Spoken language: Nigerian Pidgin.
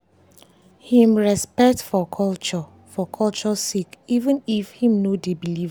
him respect for culture for culture sake even if him no dey believe am.